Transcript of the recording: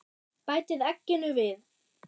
Bætið egginu við.